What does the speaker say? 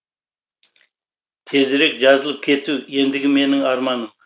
тезірек жазылып кету ендігі менің арманым